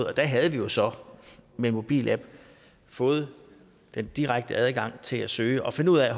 og der havde vi jo så med en mobilapp fået den direkte adgang til at søge og finde ud af